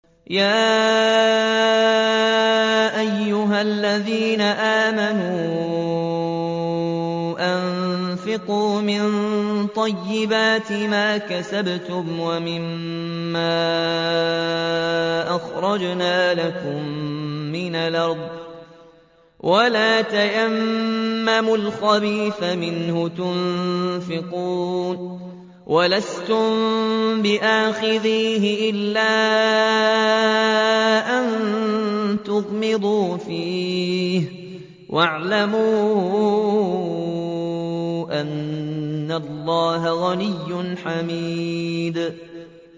يَا أَيُّهَا الَّذِينَ آمَنُوا أَنفِقُوا مِن طَيِّبَاتِ مَا كَسَبْتُمْ وَمِمَّا أَخْرَجْنَا لَكُم مِّنَ الْأَرْضِ ۖ وَلَا تَيَمَّمُوا الْخَبِيثَ مِنْهُ تُنفِقُونَ وَلَسْتُم بِآخِذِيهِ إِلَّا أَن تُغْمِضُوا فِيهِ ۚ وَاعْلَمُوا أَنَّ اللَّهَ غَنِيٌّ حَمِيدٌ